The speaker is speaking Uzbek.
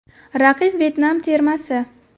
Raqib Vyetnam termasi.